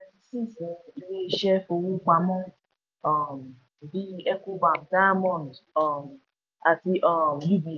ilé iṣẹ́ fowó pamọ́ um bíi ecobank diamond um àti um ub